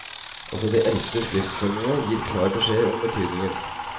Også de eldste skriftformene gir klar beskjed om betydningen.